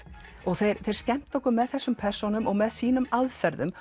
og þeir skemmta okkur með þessum persónum og með sínum aðferðum